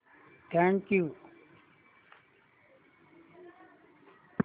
thank you